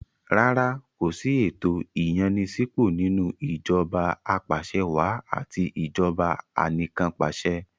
Rárá kò sí ẹ̀tò ìyànni-sípò nínú ìjọba apàṣẹwàá àti ìjọba anìkànpàṣẹ.